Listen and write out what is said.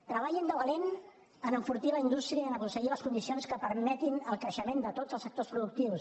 treballin de valent per enfortir la indústria i per aconseguir les condicions que permetin el creixement de tots els sectors productius